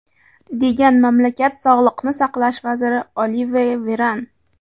degan mamlakat Sog‘liqni saqlash vaziri Olive Veran.